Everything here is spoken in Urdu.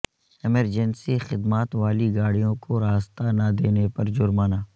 ایمرجنسی خدمات والی گاڑیوں کو راستہ نہ دینے پر جرمانہ